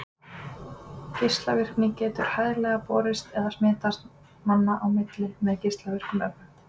Geislavirkni getur hæglega borist eða smitast manna á milli með geislavirkum efnum.